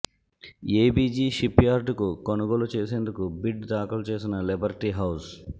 ABG shipyard కు కొనుగోలు చేసేందుకు బిడ్ దాఖలు చేసిన లిబర్టీ హౌజ్